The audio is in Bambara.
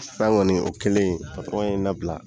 San gɔni, o kɛlen ye n nabila